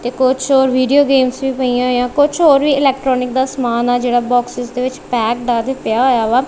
ਤੇ ਕੁਝ ਹੋਰ ਵੀਡੀਓ ਗੇਮਸ ਵੀ ਪਈ ਆ ਹੋਈਆਂ ਆ ਕੁਝ ਹੋਰ ਵੀ ਇਲੈਕਟਰੋਨਿਕ ਦਾ ਸਮਾਨ ਆ ਜਿਹੜਾ ਬੋਕ੍ਸਸ ਦੇ ਵਿੱਚ ਪੈਕਡ ਆ ਤੇ ਪਿਆ ਹੋਇਆ ਵਾ।